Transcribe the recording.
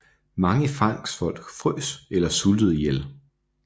Mange fangstfolk frøs eller sultede ihjel